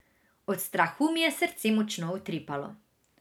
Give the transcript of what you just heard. Od strahu mi je srce močno utripalo.